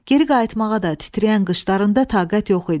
Geri qayıtmağa da titrəyən qışlarında taqət yox idi.